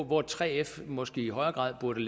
hvor 3f måske i højere grad burde